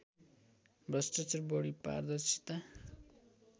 भ्रष्टचार बढी पारदर्शिता